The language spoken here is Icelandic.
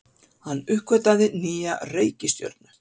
Hann uppgötvaði nýja reikistjörnu!